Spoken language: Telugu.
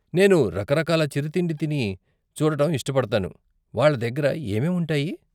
నేను రకరకాల చిరుతిండి తిని చూడటం ఇష్టపడతాను, వాళ్ళ దగ్గర ఏమేం ఉంటాయి?